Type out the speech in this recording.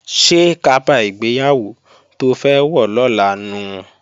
Ṣé kaba ìgbéyàwó to fẹ́ wọ̀ lọ́la nu?